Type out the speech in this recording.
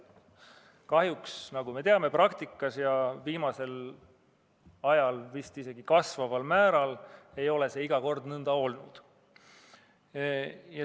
Kahjuks, nagu me teame, praktikas – ja viimasel ajal vist isegi kasvaval määral – ei ole see alati nõnda olnud.